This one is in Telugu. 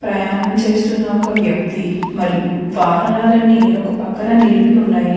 ప్రయాణం చేస్తున్న ఒక వ్యక్తి మరియు వాహనాలన్నీ ఒక పక్కన నిలిపి ఉన్నాయి.